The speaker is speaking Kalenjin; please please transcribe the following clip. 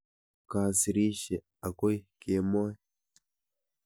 Kasirishe akoi kemoi.